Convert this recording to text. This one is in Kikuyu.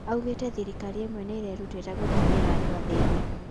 Aũgete thirikari imwe niirerutera gũkinyĩra andũ athĩni